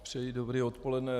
Přeji dobré odpoledne.